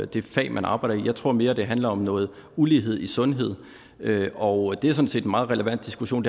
det fag man arbejder i jeg tror mere det handler om noget ulighed i sundhed og det er sådan set en meget relevant diskussion